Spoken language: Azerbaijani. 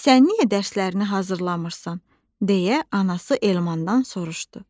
Sən niyə dərslərini hazırlamırsan, deyə anası Elmandan soruşdu.